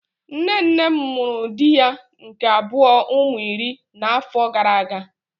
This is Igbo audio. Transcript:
Nne nne m mụrụ di ya nke abuo ụmụ iri na afọ gara aga.